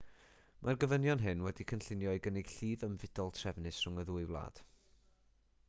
mae'r gofynion hyn wedi'u cynllunio i gynnig llif ymfudol trefnus rhwng y ddwy wlad